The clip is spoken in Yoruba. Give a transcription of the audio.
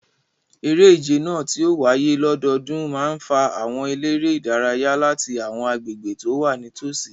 Eré ìje náà, tí ó ń wáyé lọ́dọọdún, máa ń fa àwọn eléré-ìdárayá láti àwọn agbègbè tó wà nítòsí.